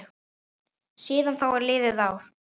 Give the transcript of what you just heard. Síðan þá er liðið ár.